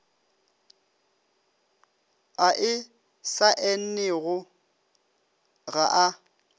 a e saennego ga a